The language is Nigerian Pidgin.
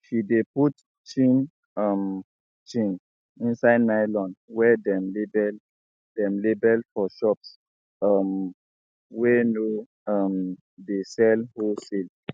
she de put chin um chin inside nylon wey dem label dem label for shops um wey no um dey sell wholesale